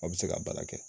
Aw bɛ se ka baara kɛ